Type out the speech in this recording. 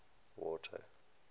water